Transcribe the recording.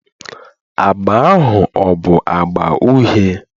Agba ahụ ọ bụ agba uhie?